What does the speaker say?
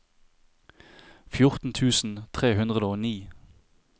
fjorten tusen tre hundre og ni